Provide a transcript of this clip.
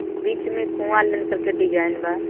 बीच में कुआं करके डिजाइन बा.